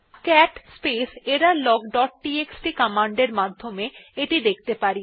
আমরা cat space error log dot TXT command এর মাধ্যমে এটি দেখতে পারি